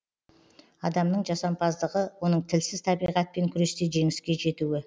адамның жасампаздығы оның тілсіз табиғатпен күресте жеңіске жетуі